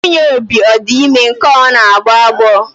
Nwunye Obi ọ di ime nke a ọ na-agbọ agbọ?